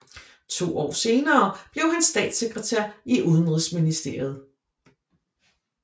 To år senere blev han statssekretær i udenrigsministeriet